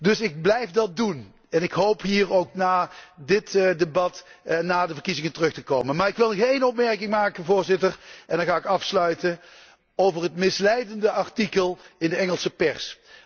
Dus ik blijf dat doen en ik hoop hier ook na dit debat na de verkiezingen terug te komen. Maar ik wil nog een opmerking maken en dan ga ik afsluiten, over het misleidende artikel in de Engelse pers.